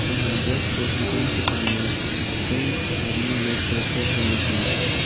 जहां just fresh दुकान के सामने कई आदमी लोग बैठे हुए हैं।